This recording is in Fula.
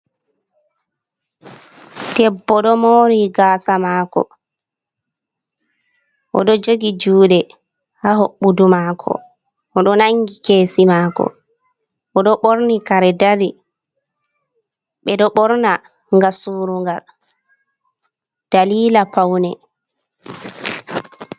Debbo ɗo mori gasa mako. Oɗo jogi juɗe ha hoɓɓudu mako, odo nangi kesi mako, oɗo ɓorni kare dari. Ɓedo ɓorna ngam surungal dalila paune.